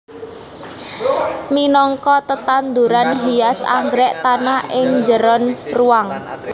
Minangka tetanduran hias anggrèk tahan ing njeron ruwang